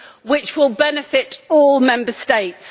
which will benefit all Member States.